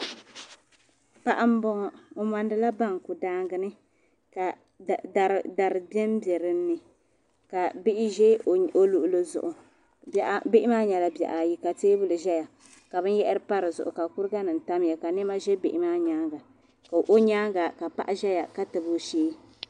paɣa n bɔŋɔ, ɔmɔndila bonkuka dari don dodini. ka bihi ʒɛ ɔluɣili zuɣu bihi maa nyɛla bihi ayi ka teebuli ʒaya ka bin yahiri tam di zuɣu ka kuriga nim tamya ka nema ʒa bihi maa nyaaŋa kaɔ nyaaŋa ka paɣiʒaya ka tabi ɔshee.